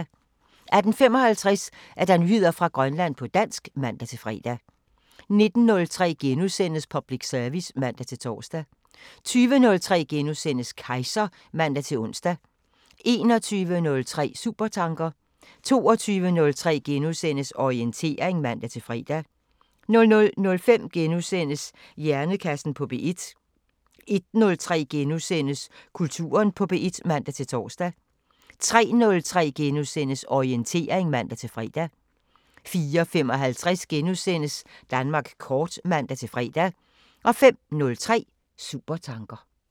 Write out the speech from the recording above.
18:55: Nyheder fra Grønland på dansk (man-fre) 19:03: Public service *(man-tor) 20:03: Kejser *(man-ons) 21:03: Supertanker 22:03: Orientering *(man-fre) 00:05: Hjernekassen på P1 * 01:03: Kulturen på P1 *(man-tor) 03:03: Orientering *(man-fre) 04:55: Danmark kort *(man-fre) 05:03: Supertanker